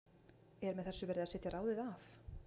Er með þessu verið að setja ráðið af?